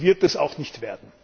Sie wird es auch nicht werden!